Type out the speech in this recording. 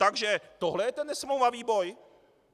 Takže tohle je ten nesmlouvavý boj?